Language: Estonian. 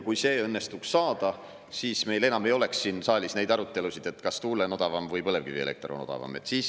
Kui see õnnestuks saada, siis meil enam ei oleks siin saalis neid arutelusid, kas tuule‑ või põlevkivielekter on odavam.